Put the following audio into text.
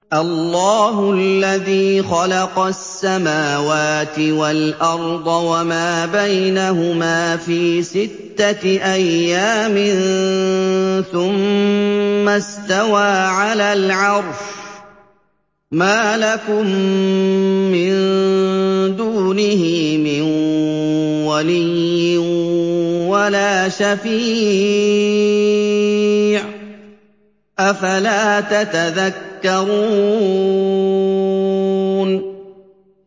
اللَّهُ الَّذِي خَلَقَ السَّمَاوَاتِ وَالْأَرْضَ وَمَا بَيْنَهُمَا فِي سِتَّةِ أَيَّامٍ ثُمَّ اسْتَوَىٰ عَلَى الْعَرْشِ ۖ مَا لَكُم مِّن دُونِهِ مِن وَلِيٍّ وَلَا شَفِيعٍ ۚ أَفَلَا تَتَذَكَّرُونَ